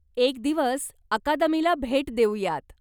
एक दिवस अकादमीला भेट देऊयात!